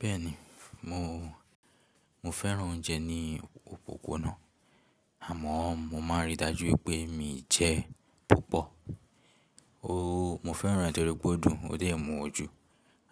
Bẹ́ẹ̀ni, mo, mo fẹ́ràn oúnjẹ ní òpópónà àmọ́ mo máa ń rí i dájú pé mi jẹ púpọ̀. Ooo, mo fẹ́ràn ràn tò ri pè ò dù, ó dẹ̀ mú ojú,